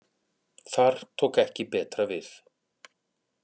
Þar tók ekki betra við